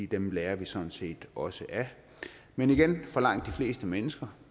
dem lærer vi sådan set også af men igen for langt de fleste mennesker